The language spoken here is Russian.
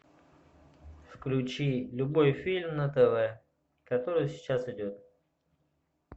включи любой фильм на тв который сейчас идет